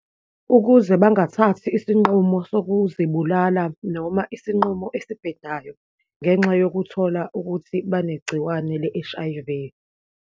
Ukuze bangathathi isinqumo sokuzibulala noma isinqumo esibhedayo, ngenxa yokuthola ukuthi banegciwane le-H_I_V.